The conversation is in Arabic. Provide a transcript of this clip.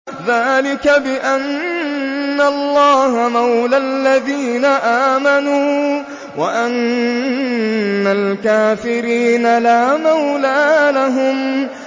ذَٰلِكَ بِأَنَّ اللَّهَ مَوْلَى الَّذِينَ آمَنُوا وَأَنَّ الْكَافِرِينَ لَا مَوْلَىٰ لَهُمْ